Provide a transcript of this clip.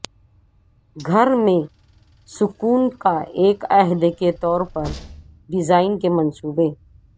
گھر میں سکون کا ایک عہد کے طور پر ڈیزائن کے منصوبے